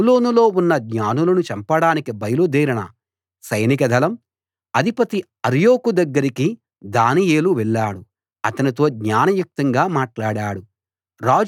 బబులోనులో ఉన్న జ్ఞానులను చంపడానికి బయలుదేరిన సైనిక దళం అధిపతి అర్యోకు దగ్గరికి దానియేలు వెళ్ళాడు అతనితో జ్ఞానయుక్తంగా మాట్లాడాడు